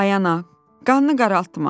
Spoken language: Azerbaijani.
Ay ana, qannı qaraltma.